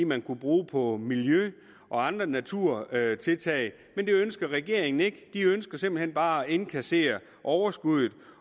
man kunne bruge på miljø og andre naturtiltag men det ønsker regeringen ikke de ønsker simpelt hen bare at indkassere overskuddet